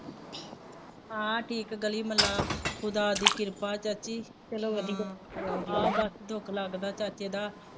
ਹਾਂ ਠੀਕ ਗਲੀ ਮੁਹੱਲਾ, ਖੁਦਾ ਦੀ ਕਿਰਪਾ ਚ ਅਸੀਂ, ਚੱਲੋ ਵਧੀਆ, ਹਾਂ ਬੱਸ ਦੁੱਖ ਲੱਗਦਾ ਚਾਚੇ ਦਾ